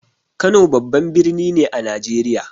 Kano babban birni ne a Najeriya.